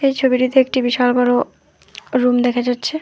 ছবিটিতে একটি বিশাল বড়ো রুম দেখা যাচ্ছে।